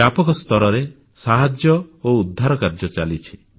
ବ୍ୟାପକ ସ୍ତରରେ ସାହାଯ୍ୟ ଓ ଉଦ୍ଧାର କାର୍ଯ୍ୟ ଚାଲିଛି